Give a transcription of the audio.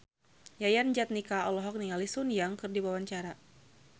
Yayan Jatnika olohok ningali Sun Yang keur diwawancara